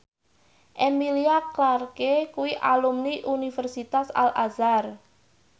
Emilia Clarke kuwi alumni Universitas Al Azhar